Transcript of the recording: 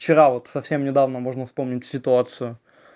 вчера вот совсем недавно можно вспомнить ситуацию